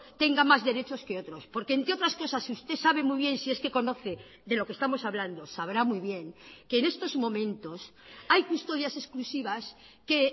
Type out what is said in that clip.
tenga más derechos que otros porque entre otras cosas usted sabe muy bien si es que conoce de lo que estamos hablando sabrá muy bien que en estos momentos hay custodias exclusivas que